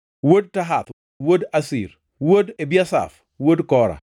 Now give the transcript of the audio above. wuod Tahath, wuod Asir, wuod Ebiasaf, wuod Kora,